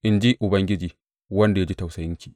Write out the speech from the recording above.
in ji Ubangiji, wanda ya ji tausayinki.